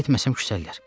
Getməsəm küsəllər.